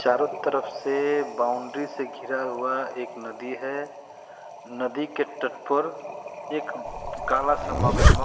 चारों तरफ से बाउंड्री से घिरा हुआ एक नदी है नदी के तट पर एक काला सा मगरमक --